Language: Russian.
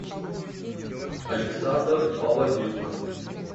александр палазюк